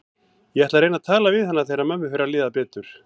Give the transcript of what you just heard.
Ég ætla að reyna að tala við hana þegar mömmu fer að líða betur.